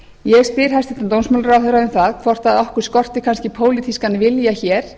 ég spyr hæstvirtur dómsmálaráðherra um það hvort okkur skorti kannski pólitískan vilja hér